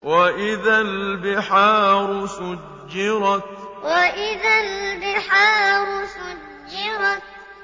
وَإِذَا الْبِحَارُ سُجِّرَتْ وَإِذَا الْبِحَارُ سُجِّرَتْ